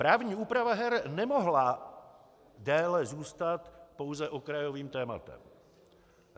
Právní úprava her nemohla déle zůstat pouze okrajovým tématem.